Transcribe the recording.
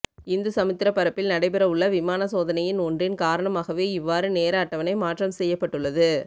இந்து சமுத்திர பரப்பிள் நடைபெற உள்ள விமான சோதனையின் ஒன்றின் காரணமாகவே இவ்வாறு நேர அட்டவணை மாற்றம் செய்யப்பட்டுள்ளது